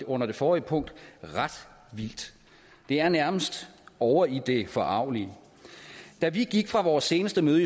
under det forrige punkt er ret vildt det er nærmest ovre i det forargelige da vi gik fra vores seneste møde